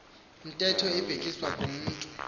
ntetho ibhekiswa kumntu